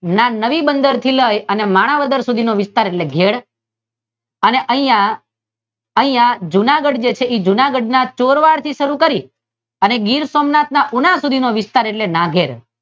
મણિવદર થી લઈને માણાવદર સુધી નો વિસ્તાર ઘેરે છે અને અહિયાં અહિયાં જુનાગઢ છે તે જુનાગઢ ના ચોરવાડ થી શરૂ કરીને ગીર સોમનાથ ના ઉના સુધીનો વિસ્તાર એટલે નાઘેર